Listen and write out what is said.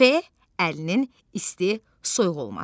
F. əlinin isti, soyuq olması.